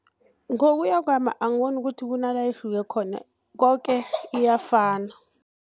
Ngokuya kwami, angiboni ukuthi kunala ihluke khona, koke iyafana.